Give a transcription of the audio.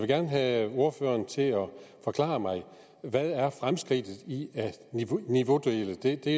gerne have ordføreren til at forklare mig hvad fremskridtet i at niveaudele er det